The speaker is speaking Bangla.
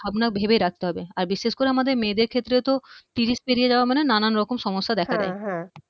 আমরা ভেবে রাখতে হবে আর বিশেষ করে আমাদের মেয়েদের ক্ষেত্রেতো ত্রিশ পেরিয়ে যাওয়া মানে নানান রকম হ্যা সমস্যা দেখা দেয়